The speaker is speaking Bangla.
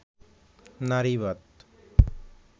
নারীবাদ